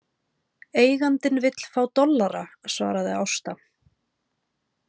Eigandinn vill fá dollara, svaraði Ásta.